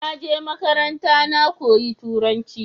naje makaranta na koyi turanci